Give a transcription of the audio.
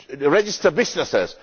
to register businesses.